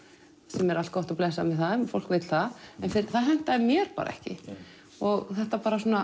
sem er allt gott og blessað með það ef fólk vill það en það hentaði mér bara ekki og þetta svona